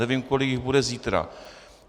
Nevím, kolik jich bude zítra.